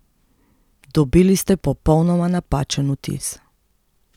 Dobili ste popolnoma napačen vtis.